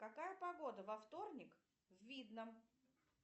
какая погода во вторник в видном